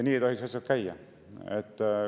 Nii ei tohiks asjad käia.